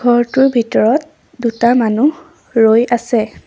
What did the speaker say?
ঘৰটোৰ ভিতৰত দুটা মানুহ ৰৈ আছে।